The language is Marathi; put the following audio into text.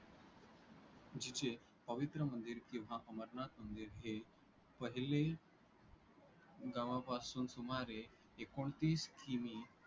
जिचे पवित्र मंदिर किंवा अमरनाथ मंदिर हे पहिले गावापासून सुमारे एकोणतीस किमी